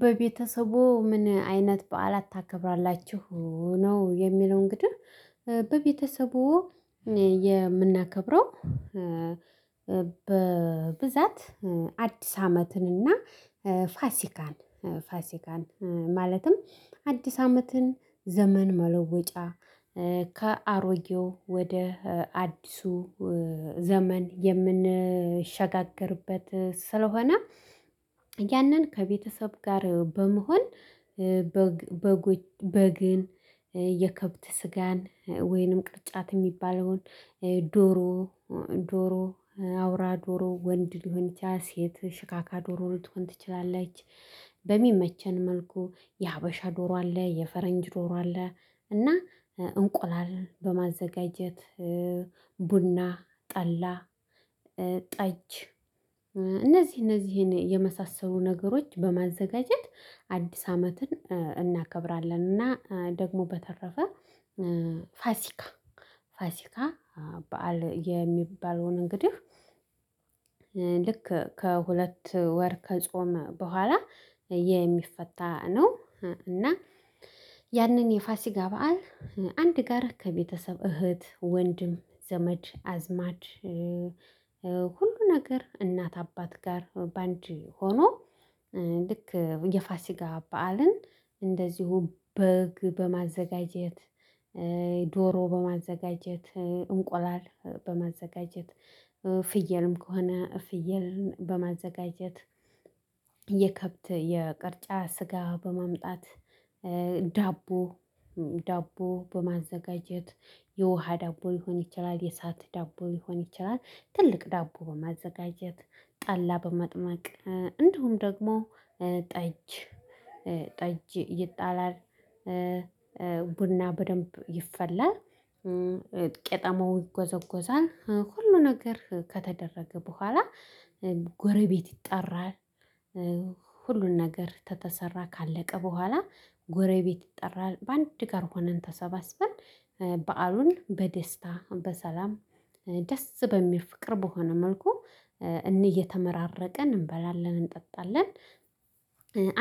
በቤተሰብዎ ምን አይነት በዓላት ታከብራላችሁ ነው የሚለው እንግዲህ በቤተሰብዎ የምናከብረው። በብዛት አዲስ አመትንና ፋሲካን ፋሲካን ማለትም አዲስ አመትን ዘመን መለወጫ ከአሮጌው ወደ አዲሱ ዘመን የምንሸጋገርበት ስለሆነ። ያንን ከቤተሰብ ጋር በመሆን በግ በጎች በግን የከብት ስጋን ወይንም ቅርጫት የሚባለውን ዶሮ ዶሮ አውራ ዶሮ ወንድ ሊሆን ይችላል ሴት ሽካካ ዶሮ ልትሆን ትችላለች። በሚመቸን መልኩ የሀበሻ ዶሮ አለ የፈረንጅ ዶሮ አለ። እና እንቁላል በማዘጋጀት ቡና ጠላ ጠጅ እነዚህ እነዚህን የመሳሰሉ ነገሮች በማዘጋጀት አዲስ አመትን እናከብራለን። እና ደግሞ በተረፈ ፋሲካ ፋሲካ በዓል የሚባለውን እንግዲህ። ልክ ከሁለት ወር ከጾም በኋላ የሚፈታ ነው። እና ያንን የፋሲጋ በዓል አንድ ጋራ ከቤተሰብ እህት ወንድም ዘመድ አዝማድ ነገር እናት አባት ጋር በአንድ ሆኖ። ልክ የፋሲጋ በዓልን እንደዚሁ በግ በማዘጋጀት ዶሮ በማዘጋጀት እንቁላል በማዘጋጀት ፍየልም ከሆነ ፍየልን በማዘጋጀት የከብት የቅርጫ ስጋ በማምጣት። ዳቦ በማዘጋጀት የውሃ ዳቦ ሊሆን ይችላል የሳት ዳቦ ሊሆን ይችላል። ትልቅ ዳቦ በማዘጋጀት ጠላ በመጥመቅ እንድሁም ደግሞ ጠጅ ይጣላል ቡና በደንብ ይፈላል። ቄጠማው ይጎዘጎዛል ሁሉ ነገር ከተደረገ በኋላ ጎረቤት ይጠራል። ሁሉን ነገር ከተሰራ ካለቀ በኋላ ጎረቤት ይጠራል። በአንድ ጋር ሆነን ተሰባስበን በዓሉን በደስታ በሰላም ደስ በሚል ፍቅር በሆነ መልኩ እየተመራረቀን እንበላለን እንጠጣለን።